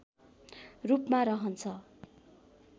रूपमा रहन्छ